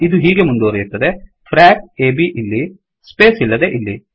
ಇದು ಹೀಗೆ ಮುಂದುವರಿಯುತ್ತದೆ - ಫ್ರಾಕ್ ಫ್ರಾಕ್ A B ಇಲ್ಲಿ ಸ್ಪೇಸ್ ಇಲ್ಲದೇ ಇಲ್ಲಿ